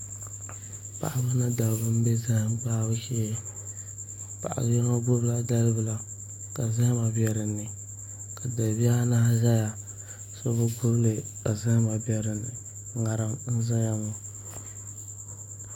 Paɣaba ni dabba n bɛ zaham gbahabu shee paɣa yino gbubila dalibila ka zahama bɛ dinni ka dalibihi anahi ʒɛya so bi gbubili ka zaham bɛ dinni ŋarim n ʒɛya ŋɔ